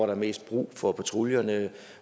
er mest brug for patruljerne